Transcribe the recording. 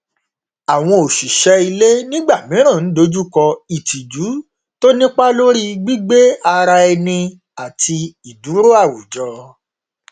àwọn òṣìṣẹ ilé nígbà mìíràn n dojú kọ ìtìjú tó nípá lórí gbígbé ara ẹni àti ìdúró àwùjọ